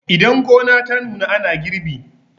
idan gona ta nuna ana girbi